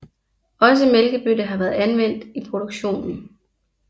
Også mælkebøtte har været anvendt i produktionen